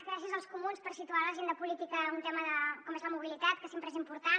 gràcies als comuns per situar a l’agenda política un tema com és la mobilitat que sempre és important